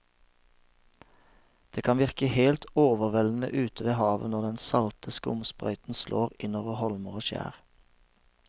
Det kan virke helt overveldende ute ved havet når den salte skumsprøyten slår innover holmer og skjær.